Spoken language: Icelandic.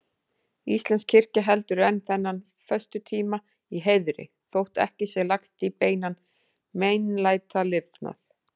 Íslensk kirkja heldur enn þennan föstutíma í heiðri, þótt ekki sé lagst í beinan meinlætalifnað.